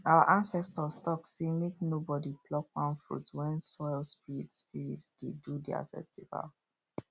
our ancestors talk say make nobody pluck palm fruit when soil spirits spirits dey do their festival